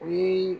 O ye